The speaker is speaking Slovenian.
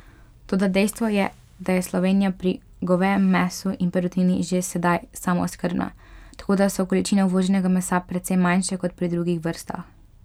Toda dejstvo je, da je Slovenija pri govejem mesu in perutnini že sedaj samooskrbna, tako, da so količine uvoženega mesa precej manjše, kot pri drugih vrstah.